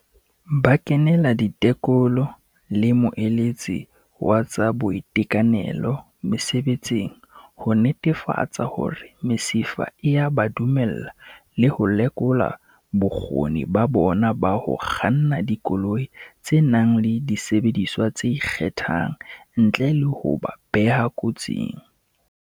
"Ba kenela ditekolo le moeletsi wa tsa boitekanelo mesebetsing ho netefatsa hore mesifa e a ba dumella le ho lekola bokgoni ba bona ba ho kganna dikoloi tse nang le disebediswa tse ikgethang ntle le ho ba beha kotsing."